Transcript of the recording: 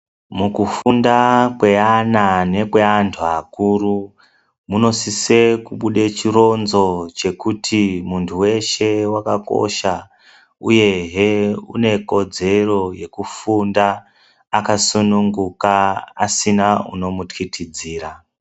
Mukufunda kweana nekweantu akuru, munosise kubude chironzo chekuti muntu weshe wakakosha uyehe une kodzero yekufunda akasununguka asina unomutyityidzira.